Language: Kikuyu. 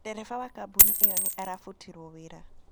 Ndereba wa kambuni ĩyo nĩ arabutirũo wĩra.